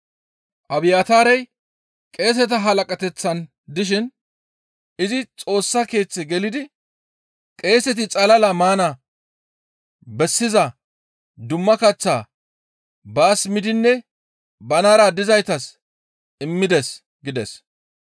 Abiyaataarey qeeseta halaqateththan dishin izi Xoossa Keeththe gelidi qeeseti xalala maana bessiza dumma kaththaa baas miidinne banara dizaytas immides» gides.